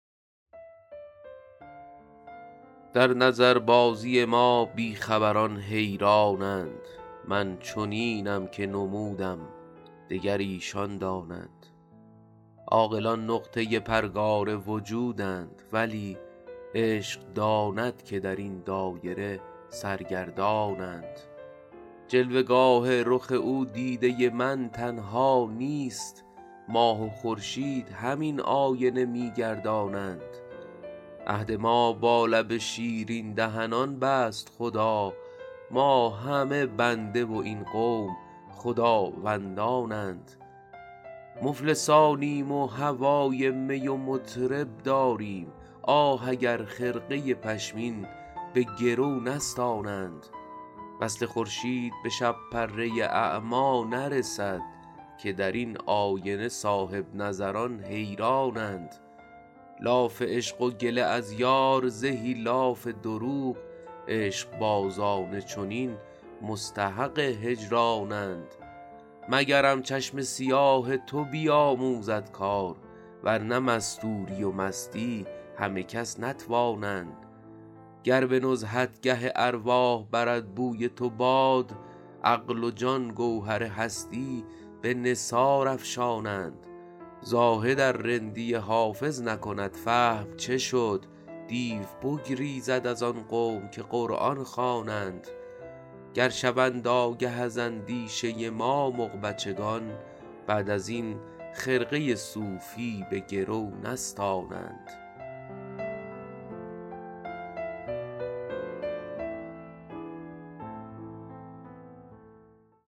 در نظربازی ما بی خبران حیران اند من چنینم که نمودم دگر ایشان دانند عاقلان نقطه پرگار وجودند ولی عشق داند که در این دایره سرگردان اند جلوه گاه رخ او دیده من تنها نیست ماه و خورشید همین آینه می گردانند عهد ما با لب شیرین دهنان بست خدا ما همه بنده و این قوم خداوندان اند مفلسانیم و هوای می و مطرب داریم آه اگر خرقه پشمین به گرو نستانند وصل خورشید به شب پره اعمی نرسد که در آن آینه صاحب نظران حیران اند لاف عشق و گله از یار زهی لاف دروغ عشق بازان چنین مستحق هجران اند مگرم چشم سیاه تو بیاموزد کار ورنه مستوری و مستی همه کس نتوانند گر به نزهتگه ارواح برد بوی تو باد عقل و جان گوهر هستی به نثار افشانند زاهد ار رندی حافظ نکند فهم چه شد دیو بگریزد از آن قوم که قرآن خوانند گر شوند آگه از اندیشه ما مغ بچگان بعد از این خرقه صوفی به گرو نستانند